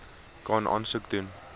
kan aansoek doen